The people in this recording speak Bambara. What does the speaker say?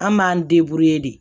An m'an de